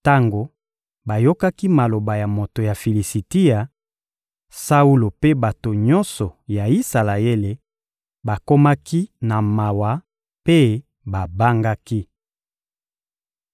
Tango bayokaki maloba ya moto ya Filisitia, Saulo mpe bato nyonso ya Isalaele bakomaki na mawa mpe babangaki.